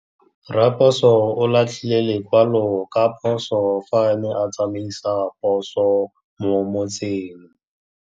Raposo o latlhie lekwalô ka phosô fa a ne a tsamaisa poso mo motseng.